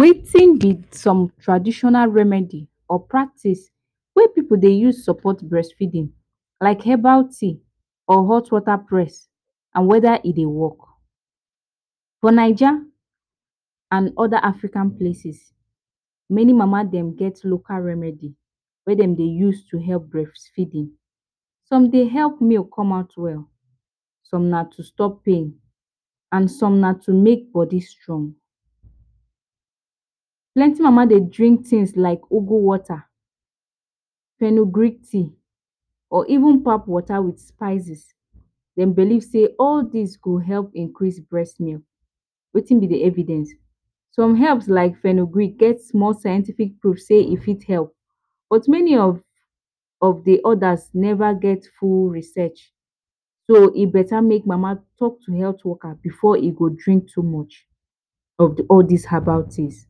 Wetin be some traditional remedy or practice whey pipu dey use support breastfeeding, like herbal tea or hot water press and whether e dey work. For 9ja and other African places many mama dem get local remedy whey dem de use to help breastfeeding, some dey help milk come out well some na to stop pain and some na to make body strong plenty mama dey drink things like ugwu water tea or even pap water with spices dem believe sey all dis go help increase breast milk wet thing be d evidence some herb like get small scientific proof sey e fit help, but many of dey others never get full research so e beta make mama talk to health workers before e go drink too much of all dis herbal teas.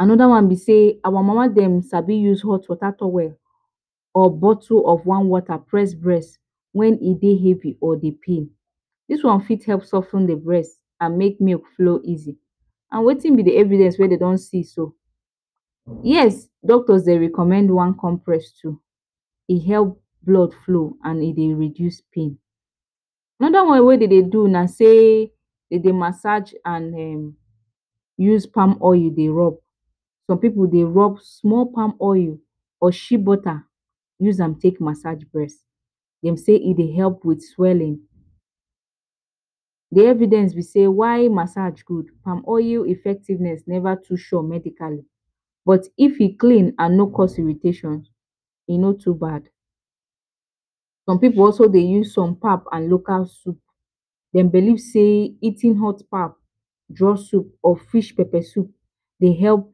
another one be say our mama dem sabi use hot water towel or bottle of swan water press breast when e dey heavy or dey pain dis wan fit help sof ten de breast and make milk flow easily and wetin be de evidence whey de den see so, yes doctors dey recommend one compressor to e help blood flow and e dey reduce pain another one whey den dey do be sey, dem dey massage and[um]use palm oil dey rub some pipu dey rub small palm oil or shea butter use am take massage breast dem sey e dey help with swelling dey evidence be sey why message go palm oil effectiveness never too sure medically but if e clean and no cost irritation e no too bad some pipu dey also use some pap and local soup dem believe sey eating hot pap draw soup or fish pepper soup dey help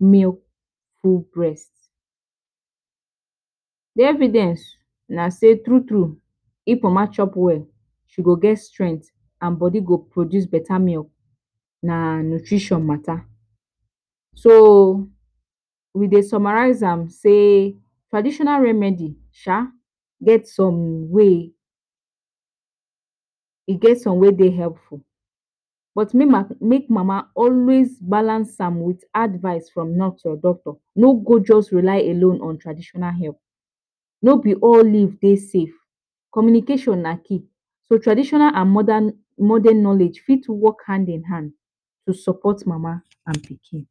milk full breast dey evidence na sey true true if mama chop well she go get strength and body go produce better milk na nutrition mata, so we dey summarize am sey traditional remedy sha, get some wey dey helpful but make mama always balance am with advice from nurse or doctor no just go relay alone on traditional herb no be all leaf dey safe communication na key so traditional and modern knowledge fit work hand in hand to support mama and pikin.